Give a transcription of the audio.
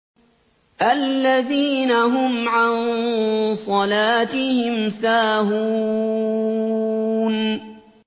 الَّذِينَ هُمْ عَن صَلَاتِهِمْ سَاهُونَ